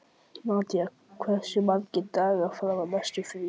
Nadia, hversu margir dagar fram að næsta fríi?